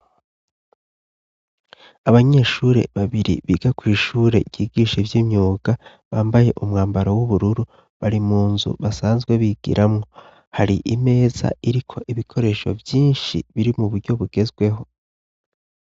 Abanyeshure babiri biga kw'ishure ryigisha ivy'imyuga bambaye umwambaro w'ubururu, bari mu nzu basanzwe bigiramwo hari imeza iriko ibikoresho vyinshi biri mu buryo bugezweho.